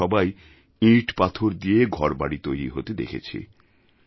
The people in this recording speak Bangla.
আমরা সবাই ইঁটপাথর দিয়ে ঘরবাড়ি তৈরি হতে দেখেছি